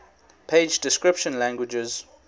page description languages